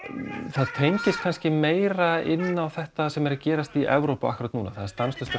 það tengist kannski meira inn á þetta sem er að gerast í Evrópu akkúrat núna það er stanslaust